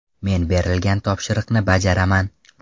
Men berilgan topshiriqni bajaraman.